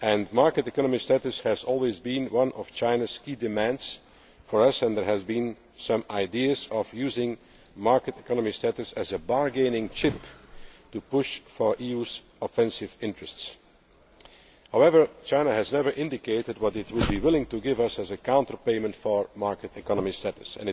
Market economy status has always been one of China's key demands to us and there has been some idea of using market economy status as a bargaining chip to push for the EU's offensive interests. However, China has never indicated what it would be willing to give us as a counterpayment for market economy